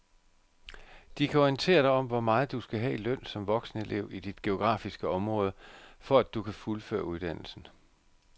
De kan orientere dig om hvor meget du skal have i løn som voksenelev i dit geografiske område, for at du kan fuldføre uddannelsen.